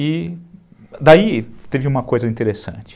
E daí teve uma coisa interessante.